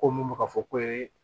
Ko mun bɛ ka fɔ ko